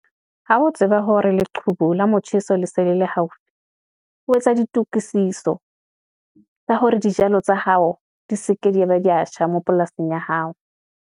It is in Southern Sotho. Ha ho tseba hore leqhubu la motjheso le se le le haufi. Ho etsa ditokisiso tsa hore dijalo tsa hao di seke, di ya ba di ya tjha, mo polasing ya hao.